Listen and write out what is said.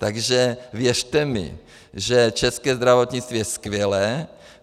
Takže věřte mi, že české zdravotnictví je skvělé.